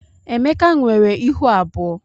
Emeka nwere ịhụ abụọ.